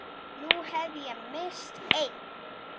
Nú hef ég misst einn.